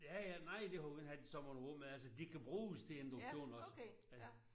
Ja ja nej det har vi ikke haft i så mange år men altså de kan bruges til induktion også